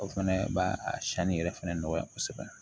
O fɛnɛ b'a sanni yɛrɛ fɛnɛ nɔgɔya kosɛbɛ